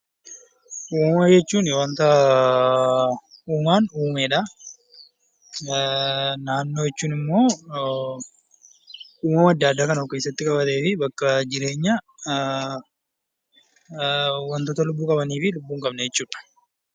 Uumama jechuun waanta uumaan uumedha. Naannoo jechuun immoo uumama adda addaa kan of keessatti qabatee fi bakka jireenyaa wantoota lubbuu qabanii fi lubbuu hin qabne jechuudha.